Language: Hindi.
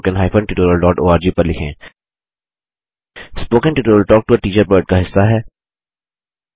spoken tutorial talk to a teacher project का हिस्सा है